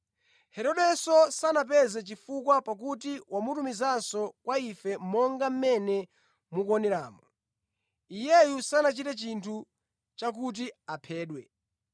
Herodenso sanapeze chifukwa pakuti wamutumizanso kwa ife monga mmene mukuoneramu. Iyeyu sanachite chinthu chakuti aphedwe.